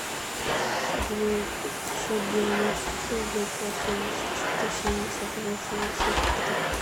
девятьсот девяносто шесть девятьсот семьдесят четыре семьдесят восемьдесят три